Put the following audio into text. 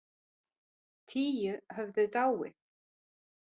Tíu höfðu dáið.